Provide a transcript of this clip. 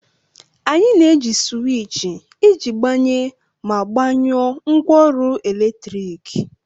Anyị na-eji sịwịchị iji gbanye ma gbanyụọ ngwaọrụ eletrik